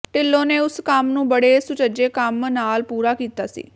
ਢਿੱਲੋਂ ਨੇ ਉਸ ਕੰਮ ਨੂੰ ਬੜੇ ਸੁਚੱਜੇ ਕੰਮ ਨਾਲ ਪੂਰਾ ਕੀਤਾ ਸੀ